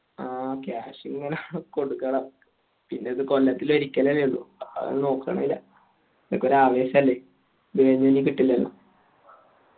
ആ cash ഇങ്ങനെ കൊടുക്കണം പിന്നെ ഇത് കൊല്ലത്തിൽ ഒരിക്കലല്ലേ ഉള്ളു അഹ് നോക്കാണില്ല ഇതിക്കെ ഒരു ആവേശല്ലേ കിട്ടില്ലല്ലോ